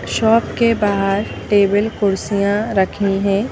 Shop के बाहर table कुर्सियां रखी हैं।